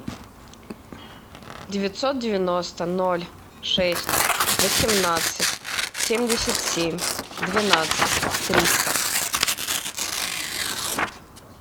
девятьсот девяносто ноль шесть восемнадцать семьдесят семь двенадцать триста